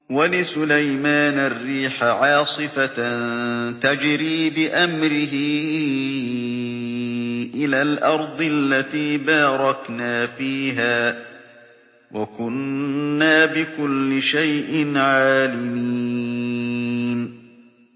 وَلِسُلَيْمَانَ الرِّيحَ عَاصِفَةً تَجْرِي بِأَمْرِهِ إِلَى الْأَرْضِ الَّتِي بَارَكْنَا فِيهَا ۚ وَكُنَّا بِكُلِّ شَيْءٍ عَالِمِينَ